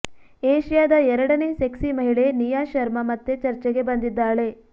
ಏಷ್ಯಾದ ಎರಡನೇ ಸೆಕ್ಸಿ ಮಹಿಳೆ ನಿಯಾ ಶರ್ಮಾ ಮತ್ತೆ ಚರ್ಚೆಗೆ ಬಂದಿದ್ದಾಳೆ